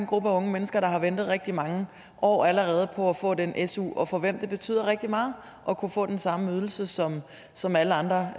gruppe af unge mennesker der har ventet rigtig mange år allerede på at få den su og for hvem det betyder rigtig meget at kunne få den samme ydelse som som alle andre